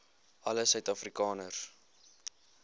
alle suid afrikaners